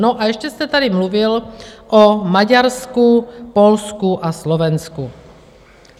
No a ještě jste tady mluvil o Maďarsku, Polsku a Slovensku.